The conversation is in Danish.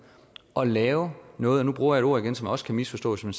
at lave noget og nu bruger jeg et ord igen som også kan misforstås når